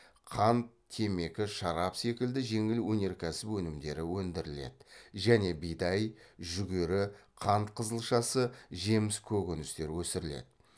қант темекі шарап секілді жеңіл өнеркәсіп өнімдері өндіріледі және бидай жүгері қант қызылшасы жеміс көкөністер өсіріледі